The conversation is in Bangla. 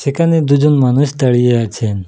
এখানে দুজন মানুষ দাঁড়িয়ে আছে।